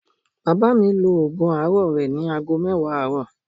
Bàbá mi lo ògùn àárọ̀ rẹ̀ ní ago mẹ́wàá àárọ̀